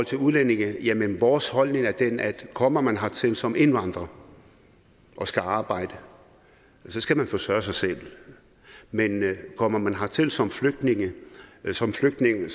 til udlændinge vores holdning er den at kommer man hertil som indvandrer og skal arbejde så skal man forsørge sig selv men kommer man hertil som flygtning som flygtning